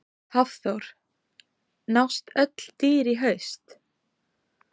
Hafþór: Nást öll dýr í haust?